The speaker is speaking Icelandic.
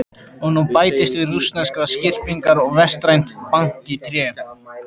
Og nú bætist við rússneskar skyrpingar vestrænt bank í tré.